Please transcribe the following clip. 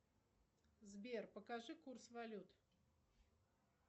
сбер покажи курс валют